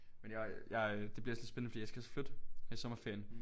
Men jeg jeg øh det bliver altså lidt spændende fordi jeg skal også flytte her i sommerferien